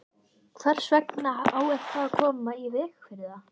Hvers vegna á eitthvað að koma í veg fyrir það?